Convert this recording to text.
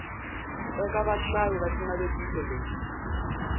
eka vahlayi va xinavetiso lexi